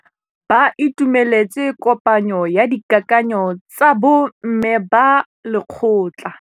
Ba itumeletse kôpanyo ya dikakanyô tsa bo mme ba lekgotla.